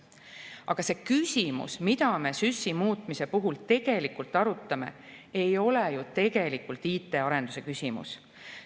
Aga see küsimus, mida me SÜS‑i muutmise puhul arutame, ei ole ju tegelikult IT‑arenduse küsimus.